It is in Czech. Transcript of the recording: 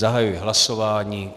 Zahajuji hlasování.